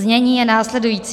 Znění je následující.